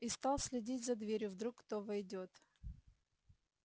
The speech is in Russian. и стал следить за дверью вдруг кто войдёт